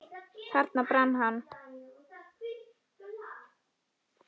Þarna brann hann.